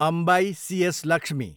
Ambai, C S. Lakshmi